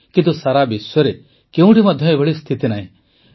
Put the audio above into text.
କିନ୍ତୁ ସାରା ବିଶ୍ୱରେ କେଉଁଠି ମଧ୍ୟ ଏଭଳି ସ୍ଥିତି ନାହିଁ